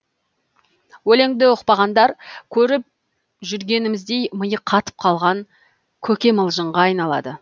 өлеңді ұқпағандар көріп жүргеніміздей миы қатып қалған көкемылжыңға айналады